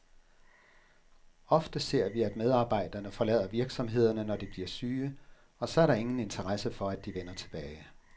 Ofte ser vi, at medarbejderne forlader virksomhederne, når de bliver syge, og så er der ingen interesse for, at de vender tilbage.